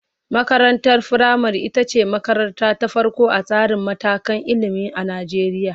Makarantar firamare ita ce makaranta ta farko a tsarin matakan ilimi a Najeriya.